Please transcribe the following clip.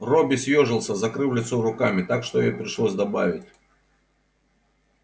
робби съёжился закрыв лицо руками так что ей пришлось добавить